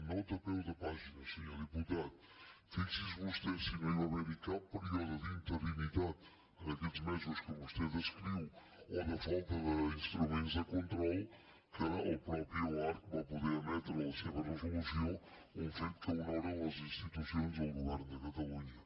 nota a peu de pàgina senyor diputat fixi’s vostè si no hi va haver cap període d’interinitat en aquests mesos que vostè descriu o de falta d’instruments de control que el mateix oarcc va poder emetre la seva resolució un fet que honora les institucions del govern de catalunya